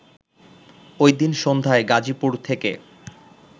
ওইদিন সন্ধ্যায় গাজীপুর থেকে